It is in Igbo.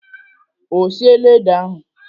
Ọ siela ede ahụ?